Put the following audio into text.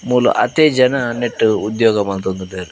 ಮೂಲು ಆತೆ ಜನ ನೆಟ್ಟ್ ಉದ್ಯೊಗ ಮಂತೊಂದುಲ್ಲೆರ್.